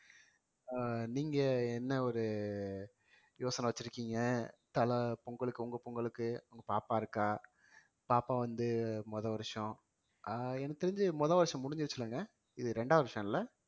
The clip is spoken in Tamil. அஹ் நீங்க என்ன ஒரு யோசனை வச்சிருக்கீங்க தல பொங்கலுக்கு உங்க பொங்கலுக்கு உங்க பாப்பா இருக்கா பாப்பா வந்து முத வருஷம் அஹ் எனக்கு தெரிஞ்சு முத வருஷம் முடிஞ்சிருச்சு இல்லைங்க இது இரண்டாவது வருஷம்ல